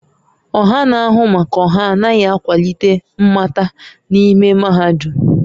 Ọha na-ahụ maka ọha anaghị akwalite mmata n'ime mahadum